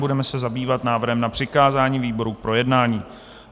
Budeme se zabývat návrhem na přikázání výboru k projednání.